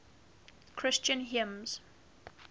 christian hymns